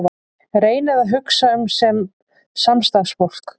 Reynið að hugsa sem samstarfsfólk.